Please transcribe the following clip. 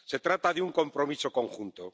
Se trata de un compromiso conjunto.